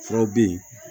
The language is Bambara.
Furaw bɛ yen